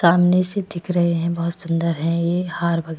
सामने से दिख रहे हैं बहुत सुंदर है ये हार --